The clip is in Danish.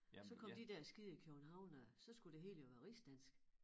Så kom de der skide københavnere så skulle det hele jo være rigsdansk